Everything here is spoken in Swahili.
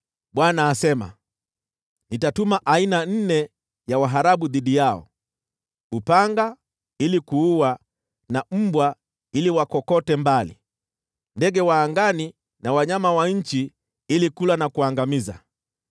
Bwana asema, “Nitatuma aina nne za waharabu dhidi yao: nazo ni upanga ili kuua na mbwa ili wakokote mbali, ndege wa angani na wanyama wa nchi ili kula na kuangamiza.